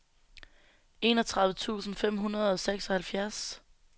enogtredive tusind fem hundrede og seksoghalvfjerds